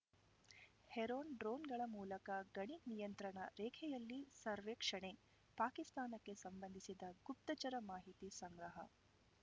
Heron ಡ್ರೋನ್‌ಗಳ ಮೂಲಕ ಗಡಿ ನಿಯಂತ್ರಣ ರೇಖೆಯಲ್ಲಿ ಸರ್ವೇಕ್ಷಣೆ ಪಾಕಿಸ್ತಾನಕ್ಕೆ ಸಂಬಂಧಿಸಿದ ಗುಪ್ತಚರ ಮಾಹಿತಿ ಸಂಗ್ರಹ